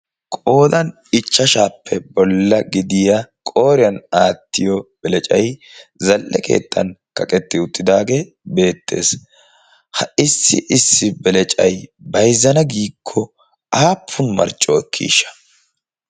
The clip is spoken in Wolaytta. qoodan ichchashaappe bolla gidiya qooriyan aattiyo belacai zalle keetxan kaqetti uttidaagee beettees. ha issi issi belecai baizzana giikko aappun marcco ekkiisha?